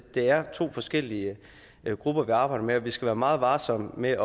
er to forskellige grupper vi arbejder med og vi skal være meget varsomme med